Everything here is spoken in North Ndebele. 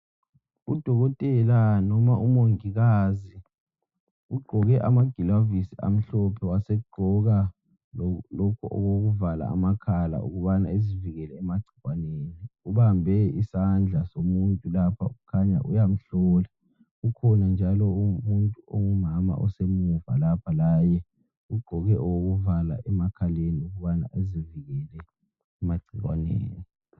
Udokotela noma umongikazi ugqoke amagilavisi amhlophe wasegqoka lalokhu okokuvala amakhala ubana ezivikele emagcikwaneni, ubambe isandla somuntu lapha kukhanya uyamhlola kukhona njalo omunye ongumama osemuva lapha laye ugqoke okokuvala emakhaleni ukubana ezivikele emagcikwaneni.